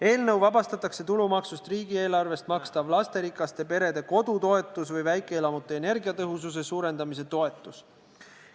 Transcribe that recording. Eelnõuga vabastatakse tulumaksu alt riigieelarvest makstav lasterikaste perede kodutoetus või väikeelamute energiatõhususe suurendamise toetus.